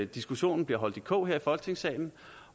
diskussionen bliver holdt i kog her i folketingssalen